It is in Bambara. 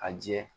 A jɛ